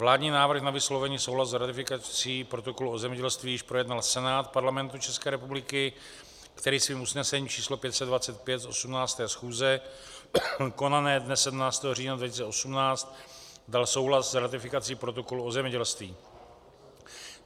Vládní návrh na vyslovení souhlasu s ratifikací protokolu o zemědělství již projednal Senát Parlamentu České republiky, který svým usnesením číslo 525 z 18. schůze konané dne 17. října 2018 dal souhlas s ratifikací protokolu o zemědělství.